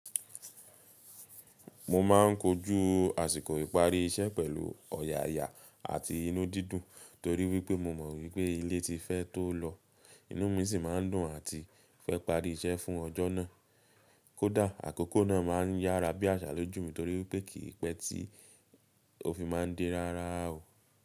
Mo ma n kojú àsìkò ìparí iṣẹ́ pẹ̀lú ọ̀yàyà àti inú dídùn torí wípé mo mọ̀ wípé ilé ti fẹ́ tó lọ, inú mi sì ma n dùn àti fẹ́ parí iṣẹ́ fún ọjọ́ náà. Kódà àkókò náà ma n yára bí àṣà lójú mi torí wipé kì í pẹ́ tí ò fi ma n de rárá o.